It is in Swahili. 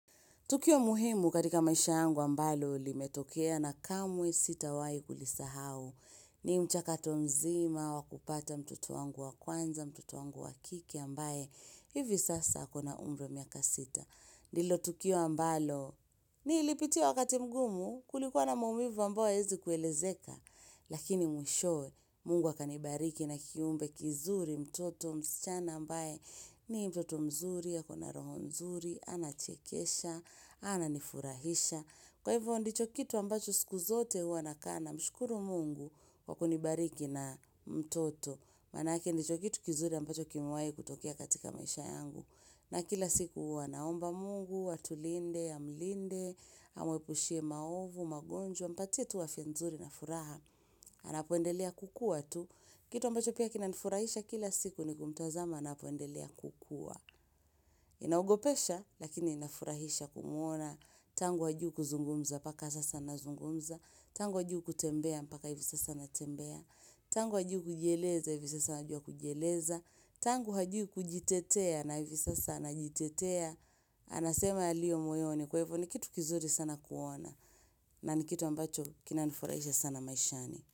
Tukio muhimu katika maisha yangu ambalo limetokea na kamwe sitawahi kulisahau. Ni mchakato mzima wa kupata mtoto wangu wa kwanza, mtoto wangu wa kike ambaye hivi sasa ako na umri miaka sita. Nilo tukio ambalo nilipitia wakati mgumu kulikuwa na maumivu ambayo hyawezi kuelezeka. Lakini mwisho Mungu akanibariki na kiumbe kizuri mtoto msichana ambaye ni mtoto mzuri ako na roho mzuri. Anachekesha, ananifurahisha Kwa hivyo ndicho kitu ambacho siku zote hua nakaa namshukuru Mungu kwa kunibariki na mtoto Manake ndicho kitu kizuri ambacho kimewai kutokea katika maisha yangu na kila siku hua naomba Mungu, atulinde, amlinde Amwepushie maovu, magonjwa, mpatie tu afya nzuri na furaha Anapoendelea kukua tu Kitu ambacho pia kinanifurahisha kila siku ni kumtazama anapoendelea kukua Inaogopesha lakini inafurahisha kumuona Tangu hajui kuzungumza mpaka sasa anazungumza Tangu hajui kutembea mpaka hivi sasa anatembea Tangu hajui kujieleza hivi sasa anajua kujieleza Tangu hajui kujitetea na hivi sasa anajitetea Anasema yaliyo moyoni kwa hivo ni kitu kizuri sana kuona na ni kitu ambacho kinanifurahisha sana maishani.